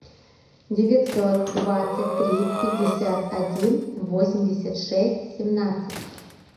девятьсот двадцать три пятьдесят один восемьдесят шесть семнадцать